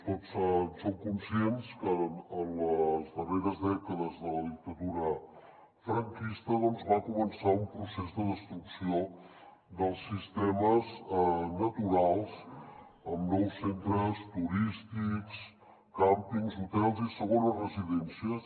tots som conscients que en les darreres dècades de la dictadura franquista va començar un procés de destrucció dels sistemes naturals amb nous centres turístics càmpings hotels i segones residències